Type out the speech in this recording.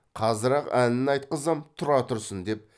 қазір ақ әнін айтқызам тұра тұрсын деп